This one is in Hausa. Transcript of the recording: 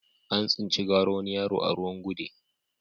An tsinci gawar wani yaro a ruwan gude